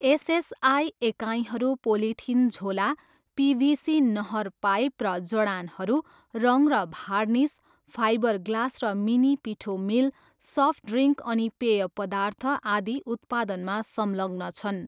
SSI एकाइहरू polythene झोला, PVC नहर पाइप र जडानहरू, रङ र भार्निस, फाइबरग्लास र मिनी पिठो मिल, सफ्ट ड्रिङ्क अनि पेय पदार्थ, आदि उत्पादनमा संलग्न छन्।